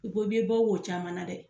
bɔ wo caman dɛ.